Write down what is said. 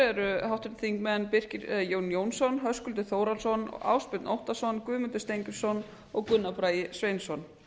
eru háttvirtir þingmenn birkir jón jónsson höskuldur þórhallsson ásbjörn óttarsson guðmundur steingrímsson og gunnar bragi sveinsson